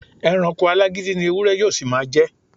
E̩ranko alágídí ni ewúré̩ yóó sì máa je̩.